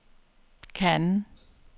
Cannes